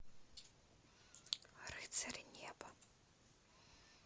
рыцари неба